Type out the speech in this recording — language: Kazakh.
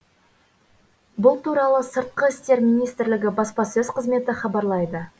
бұл туралы сыртқы істер министрлігі баспасөз қызметі хабарлайды